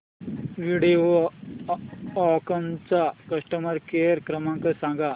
व्हिडिओकॉन चा customer care क्रमांक सांगा